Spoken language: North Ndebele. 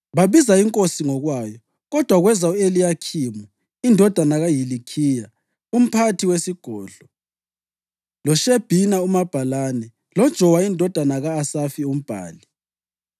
Babiza inkosi ngokwayo: Kodwa kweza u-Eliyakhimu indodana kaHilikhiya umphathi wesigodlo, loShebhina umabhalane, loJowa indodana ka-Asafi umbhali.